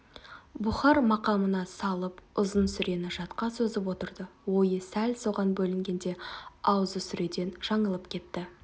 бұхар мақамына салып ұзын сүрені жатқа созып отырды ойы сәл соған бөлінгенде аузы сүреден жаңылып кетті